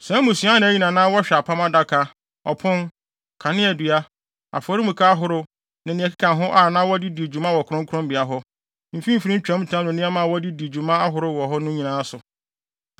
Saa mmusua anan yi na na wɔhwɛ apam adaka, ɔpon, kaneadua, afɔremuka ahorow, ne nea ɛkeka ho a na wɔde di dwuma wɔ kronkronbea hɔ, mfimfini ntwamtam ne nneɛma a wɔde di dwuma ahorow wɔ hɔ nyinaa no so.